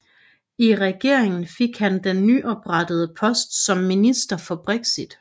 I regeringen fik han den nyoprettede post som minister for Brexit